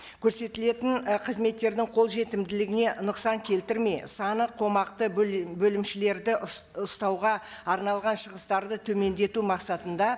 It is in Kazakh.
көрсетілетін і қызметтердің қолжетімділігіне нұқсан келтірмей саны қомақты бөлімшелерді ұстауға арналған шығыстарды төмендету мақсатында